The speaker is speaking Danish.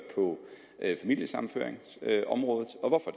på familiesammenføringsområdet og hvorfor